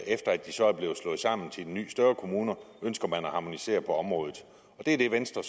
efter at de så er blevet slået sammen til nye større kommuner ønsker man at harmonisere på området det er det venstre